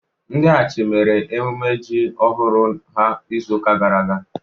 ndi achi mere emume ji ohuru ha n'izu uka gara aga